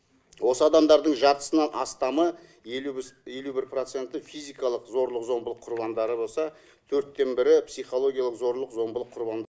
осы адамдардың жартысынан астамы елу бір проценті физикалық зорлық зомбылық құрбандары болса төрттен бірі психологиялық зорлық зомбылық құрбан